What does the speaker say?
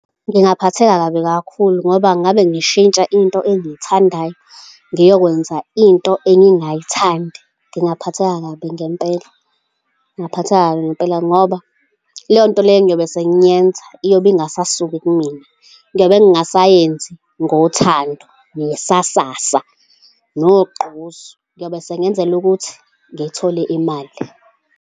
Ngingaphatheka kabi kakhulu ngoba ngabe ngishintsha into engiyithandayo ngiyokwenza into engingayithandi. Ngingaphatheka kabi ngempela, ngingaphatheka kabi ngempela, ngoba leyo nto leyo engiyobe sengiyenza iyobe ingasasuki kimina, ngiyobe ngingasayenzi ngothando nesasasa nogqozi. Ngiyobe sengiyenzela ukuthi ngithole imali.